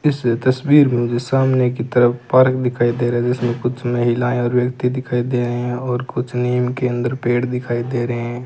इस तस्वीर में जो सामने की तरफ पार्क दिखाई दे रहा है जिसमें कुछ महिलाएं और व्यक्ति दिखाई दे रहे हैं और कुछ नीम के अंदर पेड़ दिखाई दे रहे हैं।